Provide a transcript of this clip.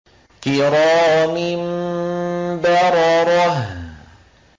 كِرَامٍ بَرَرَةٍ